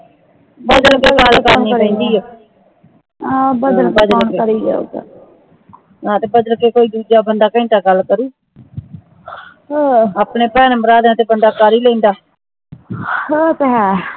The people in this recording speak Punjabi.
ਬਦਲ ਕੇ ਗੱਲ ਕਰਨੀ ਪੈਂਦੀ ਆ ਹਾਂ ਤੇ ਬਦਲ ਕੇ ਕੋਈ ਦੂਜਾ ਬੰਦਾ ਕੋਈ ਗੱਲ ਕਰੁ ਆਪਣੇ ਭੈਣ ਭਰਾਵਾਂ ਦਾ ਤਾਂ ਬੰਦਾ ਕਰ ਹੀ ਲੈਂਦਾ